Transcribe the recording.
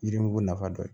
Yirimugu nafa dɔ ye